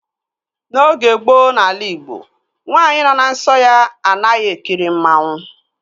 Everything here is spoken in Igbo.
N'oge gboo n'ala igbo, nwaanyị nọ na nsọ ya anaghị ekiri mmanwu